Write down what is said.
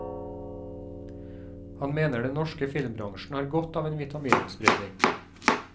Han mener den norske filmbransjen har godt av en vitamininnsprøytning.